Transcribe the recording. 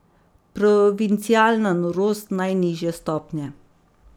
Provincialna norost najnižje stopnje!